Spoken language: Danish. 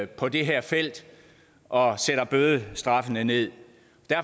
på det her felt og sætter bødestraffene ned